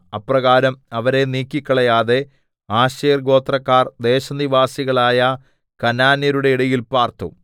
അപ്രകാരം അവരെ നീക്കിക്കളയാതെ ആശേർ ഗോത്രക്കാർ ദേശനിവാസികളായ കനാന്യരുടെ ഇടയിൽ പാർത്തു